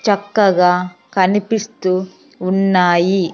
చక్కగా కనిపిస్తూ ఉన్నాయి .